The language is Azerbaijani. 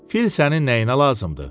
Fil sənin nəyinə lazımdır?